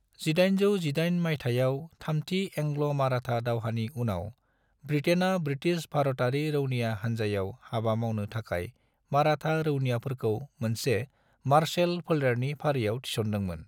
1818 माइथायाव थामथि एंग्ल-माराठा दावहानि उनाव, ब्रिटेनआ ब्रिटिश भारतारि रौनिया हानजायाव हाबा मावनो थाखाय माराठा रौनियाफोरखौ मोनसे मार्शेल फोलेरनि फारियाव थिसनदोंमोन।